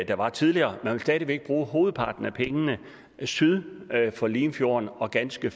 der var tidligere man vil stadig væk bruge hovedparten af pengene syd for limfjorden og ganske